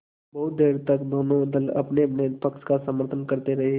बहुत देर तक दोनों दल अपनेअपने पक्ष का समर्थन करते रहे